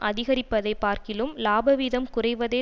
அதிகரிப்பதைப் பார்க்கிலும் இலாபவீதம் குறைவதே